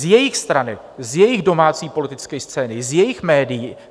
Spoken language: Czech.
Z jejich strany, z jejich domácí politické scény, z jejich médií.